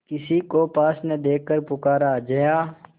किसी को पास न देखकर पुकारा जया